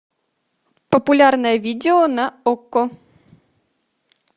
популярное видео на окко